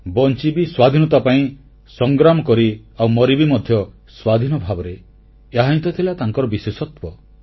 ବଂଚିବି ସ୍ୱାଧୀନତା ପାଇଁ ସଂଗ୍ରାମ କରି ଆଉ ମରିବି ମଧ୍ୟ ସ୍ୱାଧୀନ ଭାବରେ ଏହାହିଁ ତ ଥିଲା ତାଙ୍କ ବିଶେଷତ୍ୱ